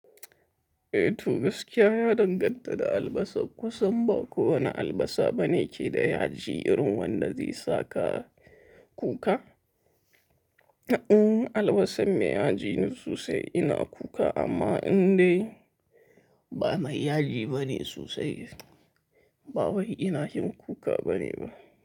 Eh to gaskiya ya danganta da albasa kusan ba kowane albasa bane ke da yaji irin wanda zai saka kuka. Albasan mai yaji ne sosai ina kuka amma in dai ba mai yaji bane sosai ba wai ina yin kuka bane ba.